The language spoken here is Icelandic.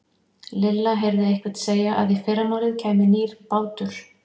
Lilla heyrði einhvern segja að í fyrramálið kæmi nýr bátur.